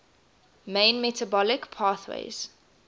main metabolic pathways